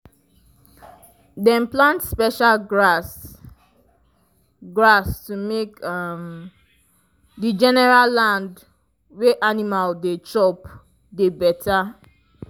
dem plant special grass grass to make um the general land wey animal dey chop dey better